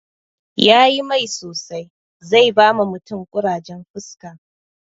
Yayi mai sosai, zai bawa mutum ƙurajen fuska